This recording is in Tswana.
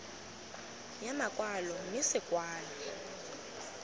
ya makwalo mme se kwalwe